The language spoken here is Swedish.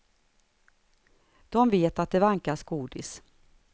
De vet att det vankas godis.